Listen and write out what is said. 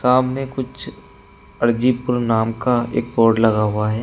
सामने कुछ अर्जीपुर नाम का एक बोर्ड लगा हुआ है।